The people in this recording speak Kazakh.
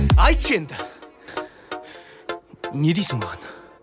айтшы енді не дейсің маған